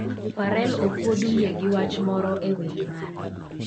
Pharrell okuod wiye gi wach moro e wer mare